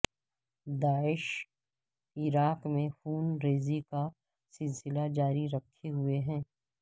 داعش Iraq میں خون ریزی کا سلسلہ جاری رکھے ہوئے ہے